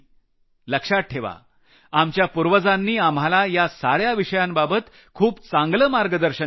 लक्षात ठेवा आपल्या पूर्वजांनी आम्हाला या सार्या विषयांबाबत खूप चांगलं मार्गदर्शन केलं आहे